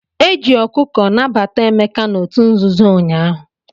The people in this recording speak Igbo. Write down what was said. Eji ọkụkọ nabata Emeka n'otu nzuzo ụnyaahụ.